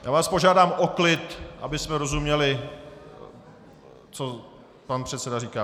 Já vás požádám o klid, abychom rozuměli, co pan předseda říká!